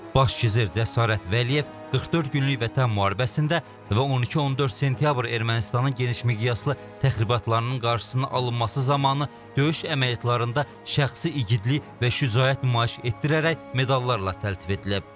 Baş gizir Cəsarət Vəliyev 44 günlük Vətən müharibəsində və 12-14 sentyabr Ermənistanın genişmiqyaslı təxribatlarının qarşısının alınması zamanı döyüş əməliyyatlarında şəxsi igidlik və şücaət nümayiş etdirərək medallarla təltif edilib.